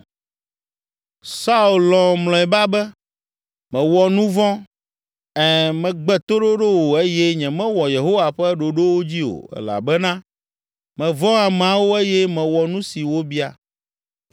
Saul lɔ̃ mlɔeba be, “Mewɔ nu vɔ̃, ɛ̃, megbe toɖoɖo wò eye nyemewɔ Yehowa ƒe ɖoɖowo dzi o elabena mevɔ̃ ameawo eye mewɔ nu si wobia.